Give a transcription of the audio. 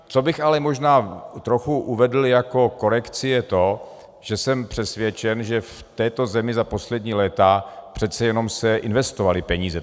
Co bych ale možná trochu uvedl jako korekci, je to, že jsem přesvědčen, že v této zemi za poslední léta přeci jenom se investovaly peníze.